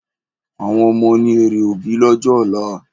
Àwọn ọmọ ni èrè òbí lọ́jọ́ ọ̀la